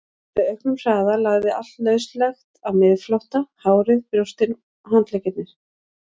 Með auknum hraða lagði allt lauslegt á miðflótta, hárið, brjóstin, handleggirnir.